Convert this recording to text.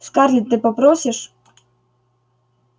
скарлетт ты попросишь